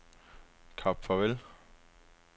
Kap Farvel